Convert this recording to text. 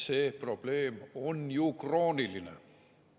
See probleem on ju krooniline.